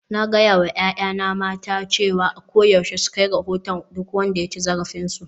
Na gaya wa 'ya'yana mata cewa a koyaushe su kai rahoton duk wanda ya ci zarafinsu